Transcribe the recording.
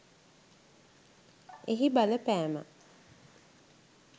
එහි බලපෑම